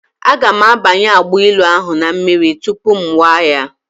Aga m abanye agbailu ahụ na mmiri tupu ṅụwa ya.